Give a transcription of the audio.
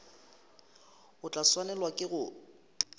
o tla swanelwa ke go